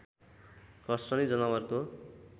घस्रने जनावरको